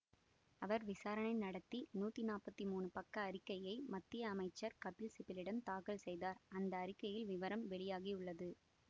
அவர் விசாரணை நடத்தி நூற்றி நாற்பத்தி மூணு பக்க அறிக்கையை மத்திய அமைச்சர் கபில் சிபலிடம் தாக்கல் செய்தார்அந்த அறிக்கையில் விவரம் வெளியாகி உள்ளது